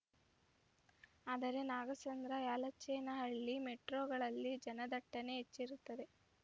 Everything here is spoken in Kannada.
ಆದರೆ ನಾಗಸಂದ್ರಯಲಚೇನಹಳ್ಳಿ ಮೆಟ್ರೋಗಳಲ್ಲಿ ಜನದಟ್ಟಣೆ ಹೆಚ್ಚಿರುತ್ತದೆ